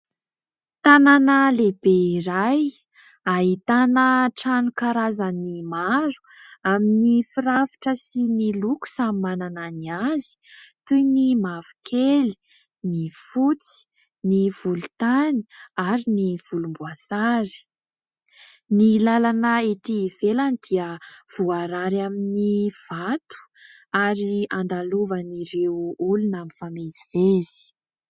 Tanàna lehibe iray, ahitana trano karazany maro amin'ny firafitra sy ny loko samy manana ny azy toy : ny mavokely, ny fotsy, ny volontany ary ny volomboasary ; ny lalana ety ivelany dia voarary amin'ny vato ary andalovan'ireo olona mifamezivezy.